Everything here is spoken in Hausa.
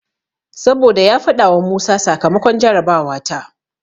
Saboda ya faɗawa Musa sakamakon jarabawa ta.